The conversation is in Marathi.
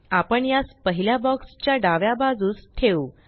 आपण यास पहिल्या बॉक्स च्या डाव्या बाजूस ठेऊ